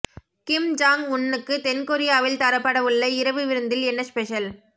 கிம் Jong உன்னுக்கு தென்கொரியாவில் தரப்படவுள்ள இரவு விருந்தில் என்ன ஸ்பெஷல்